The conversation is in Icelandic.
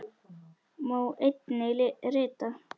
Má einnig rita